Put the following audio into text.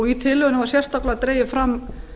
í tillögunni var sérstaklega dregið fram